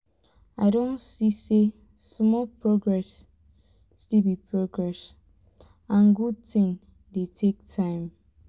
i don see say small progress still be progress and good thing dey take time